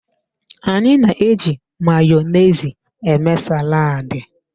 Anyị na-eji Mayonezi eme saladi.